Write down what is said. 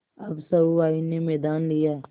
अब सहुआइन ने मैदान लिया